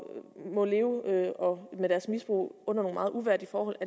må leve med deres misbrug under nogle meget uværdige forhold